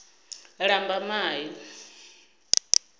lambamai